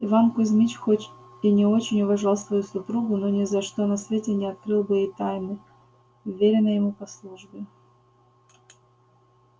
иван кузьмич хоть и очень уважал свою супругу но ни за что на свете не открыл бы ей тайны вверенной ему по службе